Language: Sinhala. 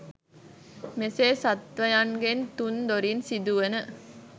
මෙසේ සත්ත්වයන්ගෙන් තුන් දොරින් සිදුවන